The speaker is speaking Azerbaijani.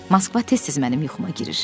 Moskva tez-tez mənim yuxuma girir.